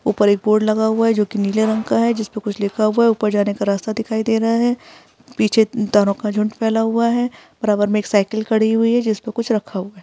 ऊपर एक बोर्ड लगा हुआ है जो कि नीले रंग का है। उसपे कुछ लिखा हुआ है। ऊपर जाने का रास्ता दिखाई दे रहा है। पीछे तारों का झुण्ड फैला हुआ है। बराबर में एक साइकिल खड़ी हुई है। जिस पर कुछ रखा हुआ है।